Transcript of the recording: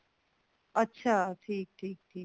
ਅੱਛਿਆ ਠੀਕ ਠੀਕ ਠੀਕ